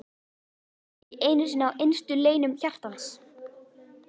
Ekki einu sinni í innstu leynum hjartans!